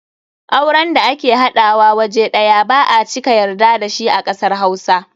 Auren da ake haɗawa waje ɗaya ba a cika yarda da shi a kasar Hausa.